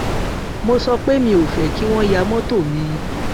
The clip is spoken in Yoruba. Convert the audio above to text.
mo sọ pé mi ò fé kí wón yá mótò mi